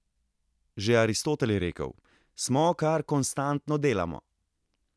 Že Aristotel je rekel: "Smo, kar konstantno delamo ...